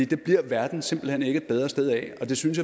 det bliver verden simpelt hen ikke et bedre sted af og det synes